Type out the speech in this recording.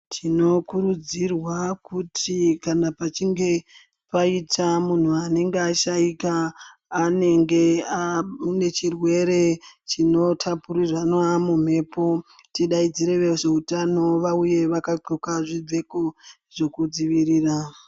Tinokurudzirwa kuti kana pachinge paita ashaika anenge aine chirwere chinotapurirwana mumhepo tidaidzire vezveutano vauye vakadloka zvipfeko zvekudzivirira .